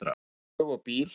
Taka flug og bíl?